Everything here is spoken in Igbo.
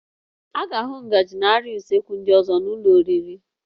A ga-ahụ ngaji na arịa usekwu ndị ọzọ n'ụlọ oriri